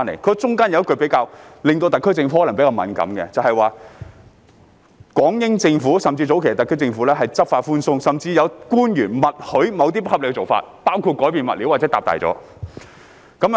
當中有一句可能令特區政府覺得比較敏感，就是"港英政府甚至早期的特區政府執法寬鬆，甚至有官員默許某些不合理的做法，包括改變物料或擴建"。